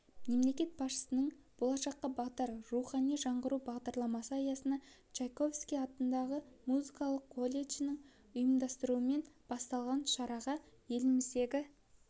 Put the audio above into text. мемлекет басшысының болашаққа бағдар рухани жаңғыру бағдарламасы аясында чайковский атындағы музыкалық колледждің ұйымдастыруымен басталған шараға еліміздегі